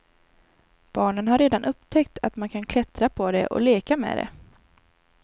Barnen har redan upptäckt att man kan klättra på det och leka med det.